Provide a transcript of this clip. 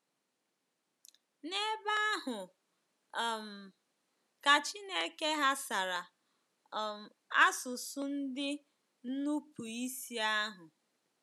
N'ebe ahụ um ka Chineke ghasara um asụsụ ndị nupụ isi ahụ.